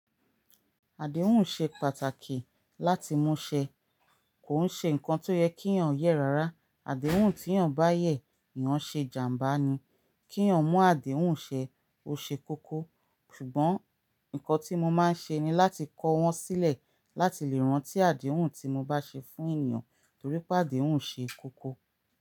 Àdéhùn ṣe pàtàkì láti mú ṣe, kò ṣe nǹkan tó yẹ kí èèyàn yẹ́ rárá. Àdéhùn tí èèyàn bá yẹ, èèyàn ṣe jàmbá ni. Kí èèyàn mú àdéhùn ṣe, ó ṣe kókó. Ṣùgbọ́n nǹkan tí mo máa ń ṣe ni láti kọ́ wọn sílẹ̀ láti lè rántí àdéhùn tí mo bá ṣe fún èeyàn, torí pé àdéhùn ṣe kókó.